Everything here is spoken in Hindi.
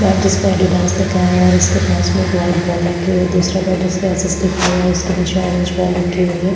बैट जिसपे एडिडास लिखा हुआ है और इसके पास में एक वाइट बॉल रखे हुए है और दूसरा बॉल जिसमें एस अस लिखा हुआ है उसके नीचे ऑरेंज बॉल रखी हुई है।